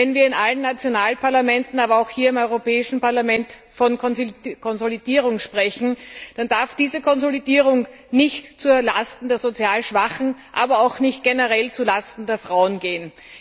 Wenn wir in allen nationalen Parlamenten, aber auch hier im Europäischen Parlament von Konsolidierung sprechen, dann darf diese Konsolidierung nicht zulasten der sozial Schwachen, aber auch nicht generell zulasten der Frauen gehen.